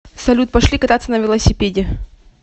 салют пошли кататься на велосипеде